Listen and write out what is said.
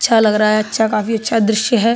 अच्छा लग रहा है अच्छा काफी अच्छा दृश्य है।